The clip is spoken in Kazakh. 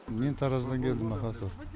мен тараздан келдім аха сол